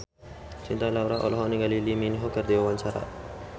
Cinta Laura olohok ningali Lee Min Ho keur diwawancara